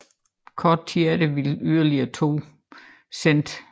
Kort tid efter ville yderligere to sendt